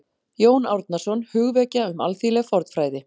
Jón Árnason: Hugvekja um alþýðleg fornfræði